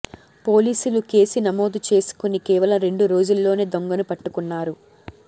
పోలీసులు కేసు నమోదు చేసుకుని కేవలం రెండు రోజుల్లోనే దొంగను పట్టుకున్నారు